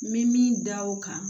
N bɛ min da o kan